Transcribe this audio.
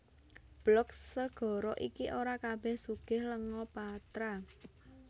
Blok segara iki ora kabèh sugih lenga patra